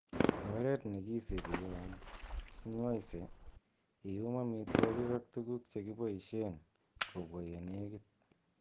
Oret nekisibi yon kingoisee, iyum amitwogik ak tuguk chekiboishen kobwa yenekit.